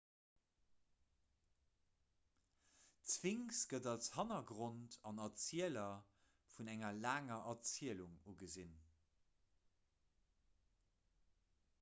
d'sphinx gëtt als hannergrond an erzieler vun enger laanger erzielung ugesinn